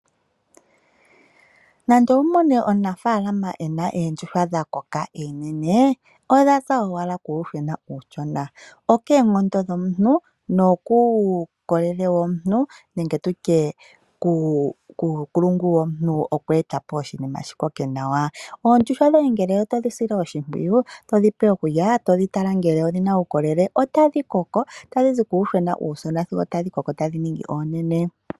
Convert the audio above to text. Nande owu mone omunafaalama e na oondjuhwa dha koka oonene, odha za owala kuuyuhwena uushona. Okoonkondo nokuukolele womuntu nenge tutye kuunkulungu womuntu oku eta po oshinima shi koke nawa . Oondjuhwa dhoye ngele otodhi sile oshimpwiyu , to dhi pe okulya, to dhi tala ngele odhina uukolele otadhi koko, tadhi zi kuuyuhwena uushona sigo tadhi koko tadhi ningi oonene.